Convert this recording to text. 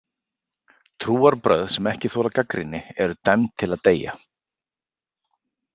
Trúarbrögð sem ekki þola gagnrýni eru dæmd til að deyja.